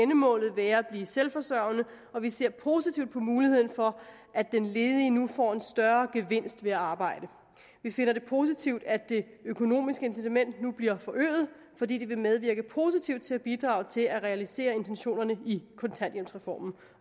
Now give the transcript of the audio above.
målet være at blive selvforsørgende og vi ser positivt på muligheden for at den ledige nu får en større gevinst ved at arbejde vi finder det positivt at det økonomiske incitament nu bliver forøget fordi det vil medvirke positivt til at bidrage til at realisere intentionerne i kontanthjælpsreformen